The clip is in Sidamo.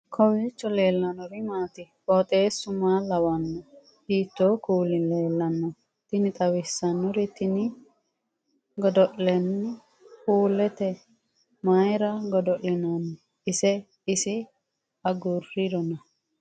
kowiicho leellannori maati ? qooxeessu maa lawaanno ? hiitoo kuuli leellanno ? tini xawissannori tini godo'linanni puuleeti mayra godo'linanni ise isi agurrirona